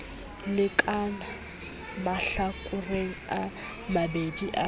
lekanang mahlakoreng a mabedi a